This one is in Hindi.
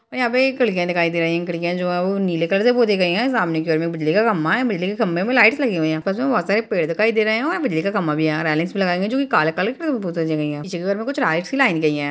और यां पे एक खिड़कियाँ दिखाई दे रही हैं। खिड़कियाँ जो हैं वो नीले कलर से पोती गयी हैं। सामने की ओर में बिजली का खम्भा है बिजली के खंभे मे लाइट्स लगी हुई हैं। में बोहोत सारे पेड़ दिखाई दे रहे हैं और बिजली का खम्भा भी आ रहा है। यहाँ रायलिंग्स भी लगायी गयी हैं जो की काले काले कलर से जो पोती गई हैं। पीछे के घर में कुछ रायट्स की लाइन गयी है।